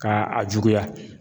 Ka a juguya.